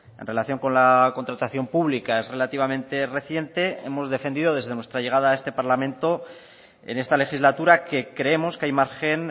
en relación con la contratación pública es relativamente reciente hemos defendido desde nuestra llegada a este parlamento en esta legislatura que creemos que hay margen